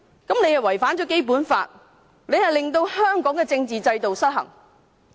這違反了《基本法》，令香港的政治制度失衡。